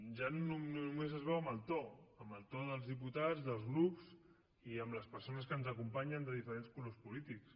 ja només es veuen amb el to amb el to dels diputats dels grups i amb les persones que ens acompanyen de diferents colors polítics